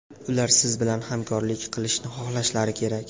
Ular siz bilan hamkorlik qilishni xohlashlari kerak.